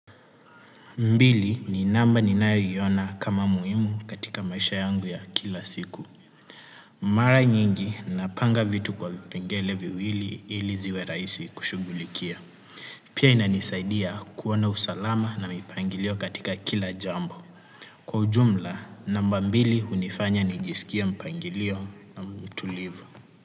Mbili ni namba ninayo iona kama muhimu katika maisha yangu ya kila siku. Mara nyingi napanga vitu kwa vipengele viwili ili ziwe rahisi kushugulikia. Pia inanisaidia kuwa na usalama na mipangilio katika kila jambo. Kwa ujumla, namba mbili hunifanya nijisikie mpangilio na mtu live.